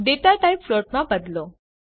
data type float માં બદલો